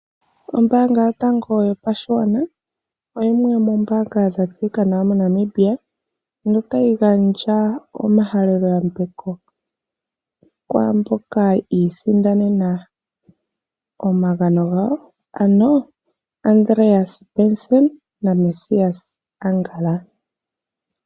Ombaanga yotango yopashigwana oyo yimwe yomoombaanga dha tseyika nawa moNamibia notayi gandja omahaleloyambeko kwaamboka yi isindanena omagano gawo ano Andreas Benson na Mesias Angala.